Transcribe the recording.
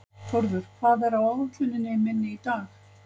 Þórður, hvað er á áætluninni minni í dag?